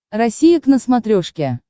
россия к на смотрешке